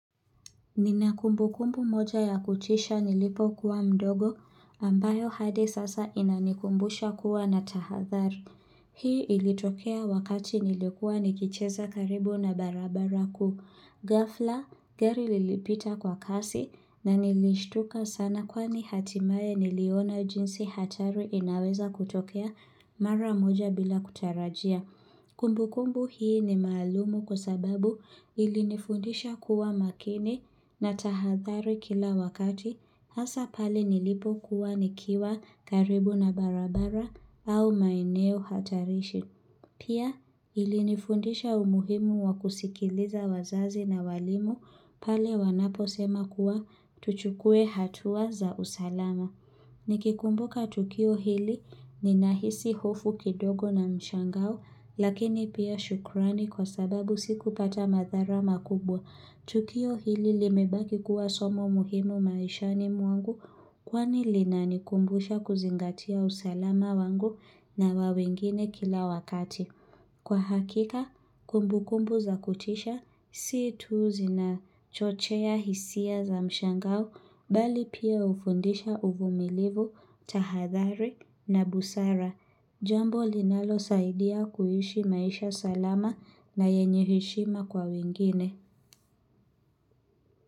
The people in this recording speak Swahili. Nina kumbukumbu moja ya kutisha nilipokuwa mdogo ambayo hadi sasa inanikumbusha kuwa na tahathari. Hii ilitokea wakati nilikuwa nikicheza karibu na barabara kuu. Ghafla, gari lilipita kwa kasi na nilishtuka sana kwani hatimaye niliona jinsi hatari inaweza kutokea mara moja bila kutarajia. Kumbu kumbu hii ni malumu kwa sababu ilinifundisha kuwa makini na tahadhari kila wakati hasa pale nilipokuwa nikiwa karibu na barabara au maineo hatarishi. Pia ilinifundisha umuhimu wa kusikiliza wazazi na walimu pale wanapo sema kuwa tuchukue hatua za usalama. Nikikumbuka tukio hili ninahisi hofu kidogo na mshangao lakini pia shukrani kwa sababu sikupata madhara makubwa. Tukio hili limebaki kuwa somo muhimu maishani mwangu kwani linanikumbusha kuzingatia usalama wangu na wa wengine kila wakati. Kwa hakika, kumbu kumbu za kutisha, si tu zinachochea hisia za mshangao, bali pia hufundisha uvumilivu, tahadhari na busara. Jambo linalosaidia kuishi maisha salama na yenye heshima kwa wengine.